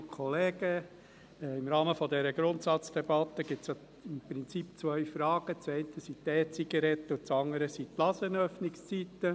Im Rahmen dieser Grundsatzdebatte stellen sich im Prinzip zwei Fragen, die eine betrifft die E-Zigaretten, die andere die Ladenöffnungszeiten.